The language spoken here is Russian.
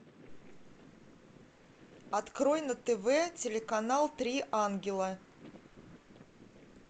открой на тв телеканал три ангела